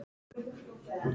Þessi saga er sönn.